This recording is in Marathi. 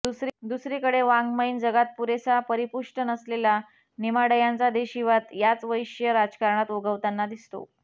दुसरीकडे वाङ्मयीन जगात पुरेसा परिपुष्ट नसलेला नेमाडयांचा देशीवाद याच वैश्य राजकारणात उगवताना दिसतो